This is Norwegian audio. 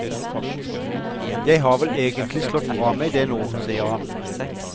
Jeg har vel egentlig slått fra meg det nå, sier han.